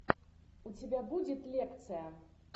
у тебя будет лекция